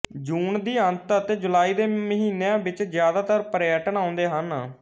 ਜੂਨ ਦੀ ਅੰਤ ਅਤੇ ਜੁਲਾਈ ਦੇ ਮਹੀਨੀਆਂ ਵਿੱਚ ਜਿਆਦਾਤਰ ਪਰਯਟਨ ਆਉਂਦੇ ਹਨ